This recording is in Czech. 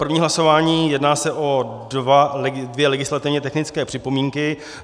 První hlasování - jedná se o dvě legislativně technické připomínky.